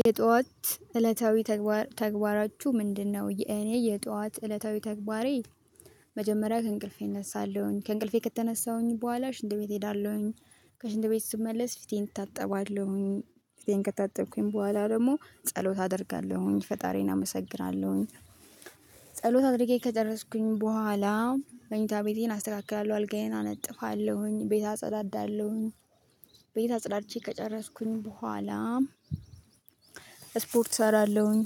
የጧት እለታዊ ተግባራችሁ ምንድነው? የኔ የጧት እለታዊ ተግባሬ። መጀመሪያ ከእንቅልፌ እነሳለሁኝ ከእንቅልፌ ከተነሳሁኝ በኋላ ሽንት ቤት እሄዳለሁኝ። ከሽንት ቤት ስመለስ ፊቴን እታጠባለሁኝ ፊቴን ከታጠብኩኝ በኋላ ደግሞ ጸሎት አደርጋለሁኝ ፈጣሪዬን አመሰግራለሁኝ። ጸሎት አድርጌ ከጨረስኩኝ በኋላ መእታ ቤቴን አስተካክላለሁ አልጋዬን አነጥፋለሁኝ ቤት አጸዳዳለሁኝ። ቤት አጽዳቼ ከጨረስኩኝ በኋላ ስፖርት እሰራለሁኝ።